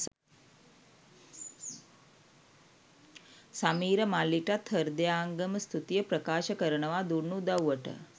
සමීර මල්ලිටත් හෘදයාංගම ස්තුතිය ප්‍රකාශ කරනවා දුන්නු උදව්වට